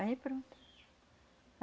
Aí pronto.